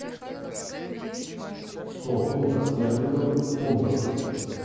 сто фунтов стерлингов в фунтах